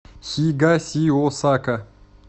хигасиосака